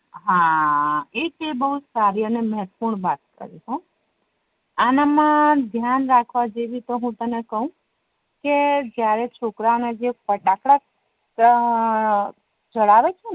હા એક એ બવ સારી અને મહત્વ પૂર્ણ વાત છે આના મા ધ્યાન રાખવા જેવી તો હુ તને કવ હુ તને કવ કે જયારે છોકરા ના જે ફટાકડા જડાવે છે